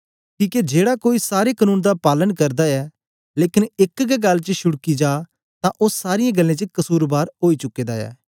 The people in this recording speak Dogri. किके जेड़ा कोई सारे कनून दा पालन करदा ऐ लेकन एक गै गल्ल च शुडकी जा तां ओ सारीयें गल्लें च कसुरबार ओई चुके दा ऐ